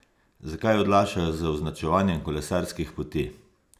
Zakaj odlašajo z označevanjem kolesarskih poti?